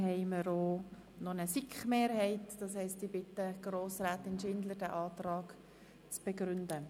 Ich erteile ihr das Wort, um den Antrag zu begründen.